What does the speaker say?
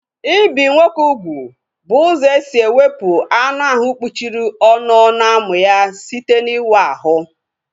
Ibi nwoke ugwu bụ ụzọ esi ewepu anụ ahụ kpuchiri ọnụ ọnụ amụ ya site n'ịwa ahụ